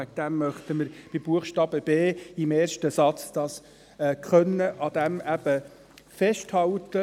Deswegen möchten wir beim Buchstaben b im ersten Satz am Wort «können» festhalten.